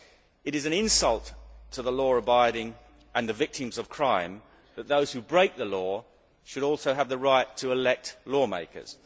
It is an insult to the law abiding and the victims of crime that those who break the law should also have the right to elect lawmakers.